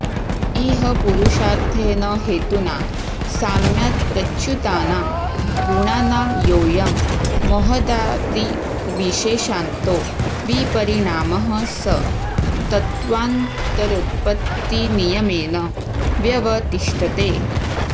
इह पुरुषार्थेन हेतुना साम्यात्प्रच्युतानां गुणानां योऽयं महदादिर्विशेषान्तो विपरिणामः स तत्त्वान्तरोत्पत्तिनियमेन व्यवतिष्ठते